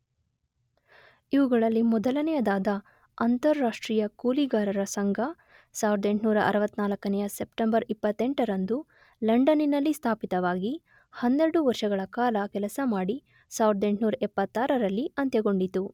ಇವುಗಳಲ್ಲಿ ಮೊದಲನೆಯದಾದ ಅಂತಾರಾಷ್ಟ್ರೀಯ ಕೂಲಿಗಾರರ ಸಂಘ 1864ನೆಯ ಸೆಪ್ಟೆಂಬರ್ 28ರಂದು ಲಂಡನ್ನಿನಲ್ಲಿ ಸ್ಥಾಪಿತವಾಗಿ ಹನ್ನೆರಡು ವರ್ಷಗಳ ಕಾಲ ಕೆಲಸ ಮಾಡಿ 1876ರಲ್ಲಿ ಅಂತ್ಯಗೊಂಡಿತು.